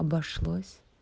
обошлось